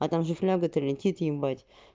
а там же фляга то летит ебать